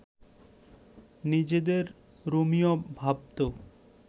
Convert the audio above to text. নিজেদের রোমিও ভাবত